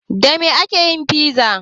Da me ake yin fiza?